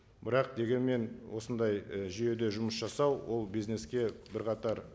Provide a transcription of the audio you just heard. бірақ дегенмен осындай і жүйеде жұмыс жасау ол бизнеске бірқатар